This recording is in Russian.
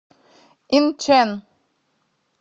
инчэн